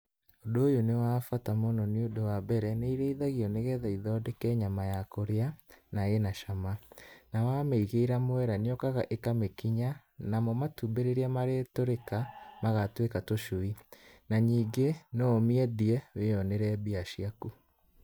Ũndũ ũyũ nĩ wa bata mũno nĩ ũndũ wa mbere, nĩ irĩithagio nĩgetha ithondeke nyama ya kũrĩa, na ĩna cama, na wamĩigĩra mwera nĩyũkaga ĩkamĩkinya, namo matumbĩ rĩrĩa marĩtũrĩka, magatuĩka tũcui. Na ningĩ, no ũmĩendie, wĩyonere mbia ciaku.